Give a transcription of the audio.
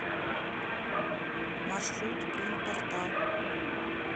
маршрут принтпортал